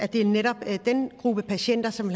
det er netop den gruppe patienter som